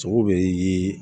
Sogo be